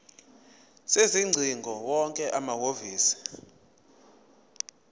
sezingcingo wonke amahhovisi